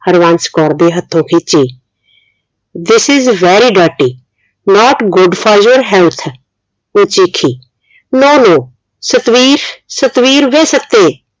ਹਰਵੰਸ਼ ਕੌਰ ਦੇ ਹੱਥੋਂ ਖਿੱਚੀ this is very dirty not good for your health ਉਹ ਚੀਖੀ no no ਸਤਵੀਸ਼ ਸਤਵੀਰ ਵੇ ਸੱਤੇ